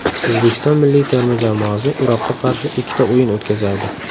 O‘zbekiston milliy terma jamoasi Iroqqa qarshi ikkita o‘yin o‘tkazadi.